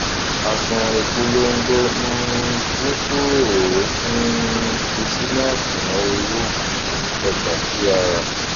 àṣùwọn ìpolongo um dín kúrò ó um fi sínú àṣùwọn owó um ọjà tí a rà